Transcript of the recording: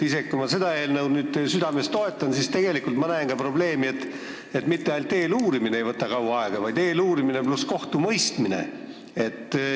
Isegi kui ma seda eelnõu südamest toetan, siis ma näen tegelikult probleemi ka selles, et mitte ainult eeluurimine ei võta kaua aega, vaid ka kohtumõistmine.